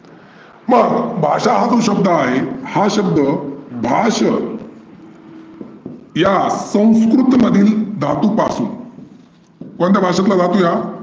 मग भाषा हा जो शब्द आहे हा शब्द भाष्य या संस्कृत मधील धातूपासून कोणत्या भाषेतील धातू आहे हा?